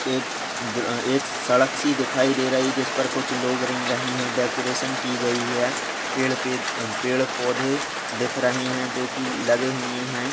एक अ एक सड़क सी दिखाई दे रही जिस पर कुछ लोग रेंग रहे हैं। डेकोरेशन की गई है। पेड़ पे अ पेड़ पौधे दिख रहे हैं जो कि लगे हुए हैं।